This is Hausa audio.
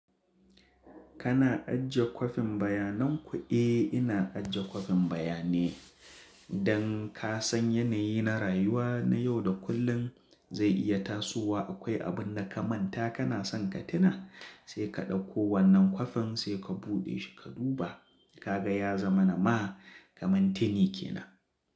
Kana ajiye kwafin bayanan ku? Eh ina ajiye kwafin bayane. Don ka san yanayi na rayuwa na yau da kullum zai iya tasowa akwai abun da ka manta kana son ka tuna sai ka ɗauko wannan kwafin sai ka buɗe shi ka duba, ka ga ya zama na ma kamar tini ke nan.